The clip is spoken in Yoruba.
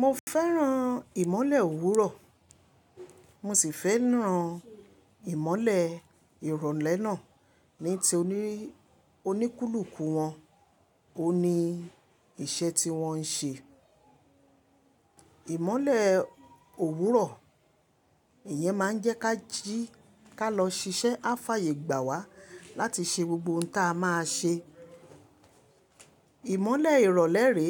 Mo fẹ́ràn ìmọ̀le òwúrọ̀, mo sì fẹ́ràn ìmọ̀le ìrọ̀lẹ́ náà. Ní ti oníkúlùkù wọn, òun ni iṣẹ́ tí wọ́n n ṣe. Ìmọ̀le òwúrọ̀, ìyẹn máa ń jẹ́ kí a jí ká lọ ṣiṣẹ́ a fàyè gbà wá láti ṣe gbogbo ohun tí a máa ṣe. Ìmọ̀le ìrọ̀lẹ́ rè,